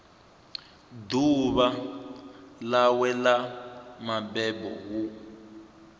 ḓuvha ḽawe ḽa mabebo hu